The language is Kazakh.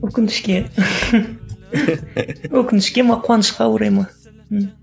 өкінішке өкінішке ме қуанышқа орай ма ммм